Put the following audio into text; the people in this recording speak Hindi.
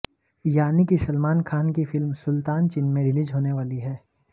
यानी कि सलमान खान की फिल्म सुल्तान चीन में रिलीज होने वाली है